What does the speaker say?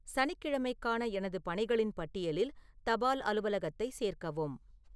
சனிக்கிழமைக்கான எனது பணிகளின் பட்டியலில் தபால் அலுவலகத்தை சேர்க்கவும்